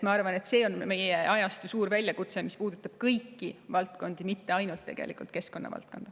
Ma arvan, et see on meie ajastu suur väljakutse, mis puudutab kõiki valdkondi, mitte ainult keskkonna valdkonda.